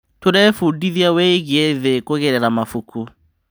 Tũrebundithia wĩgiĩ thĩ kũgerera mabuku.